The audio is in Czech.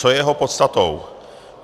Co je jeho podstatou?